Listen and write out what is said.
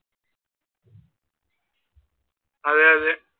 അതെ അതെ.